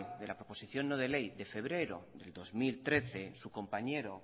de la proposición no de ley de febrero del dos mil trece su compañero